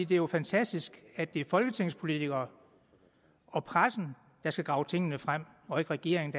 det jo er fantastisk at det er folketingspolitikere og pressen der skal grave tingene frem og ikke regeringen